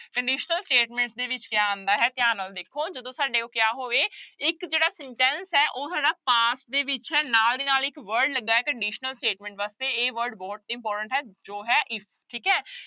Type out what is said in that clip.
Conditional statement ਦੇ ਵਿੱਚ ਕਿਆ ਆਉਂਦਾ ਹੈ ਧਿਆਨ ਨਾਲ ਦੇਖੋ ਜਦੋਂ ਸਾਡੇ ਕੋਲ ਕਿਆ ਹੋਵੇ ਇੱਕ ਜਿਹੜਾ sentence ਹੈ ਉਹ ਹੈਗਾ past ਦੇ ਵਿੱਚ ਹੈ ਨਾਲ ਦੀ ਨਾਲ ਇੱਕ word ਲੱਗਾ ਹੈ conditional statement ਵਾਸਤੇ ਇਹ word ਬਹੁਤ important ਹੈ ਜੋ ਹੈ if ਠੀਕ ਹੈ।